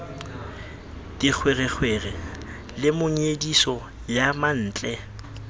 dikgwerekgwere le monyediso ya mantle